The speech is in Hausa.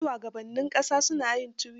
Har shugabannin ƙasa na yin tuwita.